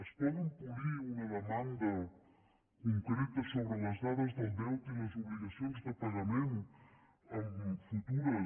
es poden polir una demanda concreta sobre les dades del deute i les obligacions de pagament en futures